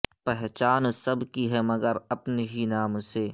پہچان سب کی ہے مگر اپنے ہی نام سے